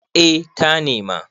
eh ta nema